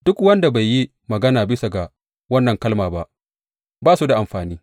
Duk wanda bai yi magana bisa ga wannan kalma ba, ba su da amfani.